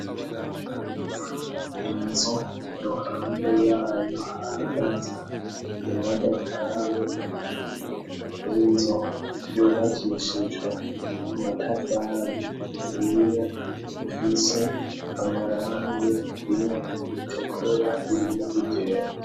Inzu iruhande yayo hahagaze imodokari inzu yubakishijwe amatafari ahiye afise amarangi rimwe ritukura irindi ryera.